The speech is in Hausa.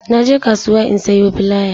Na je kasuwa in sayo filaya